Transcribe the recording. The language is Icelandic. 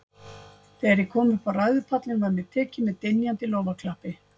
Þegar ég kom upp á ræðupallinn, var mér tekið með dynjandi lófaklappi.